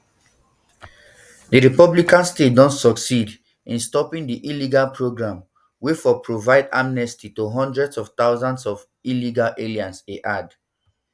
di republican um states don succeed in stopping di illegal program wey for provide um amnesty to hundreds of thousands of illegal aliens e add